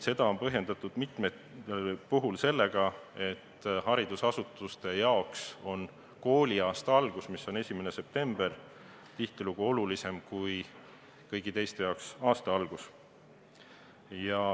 Seda on põhjendatud mitmel puhul sellega, et haridusasutuste jaoks on kooliaasta algus ehk siis 1. september üldiselt olulisem kui kõigi teiste jaoks.